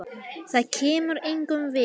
Það kemur engum við.